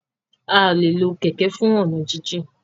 a lẹ ló Kẹ̀kẹ́ fún ọnà jin jìn